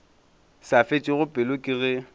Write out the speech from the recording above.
sa fetšego pelo ke ge